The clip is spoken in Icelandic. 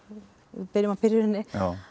við byrjum á byrjuninni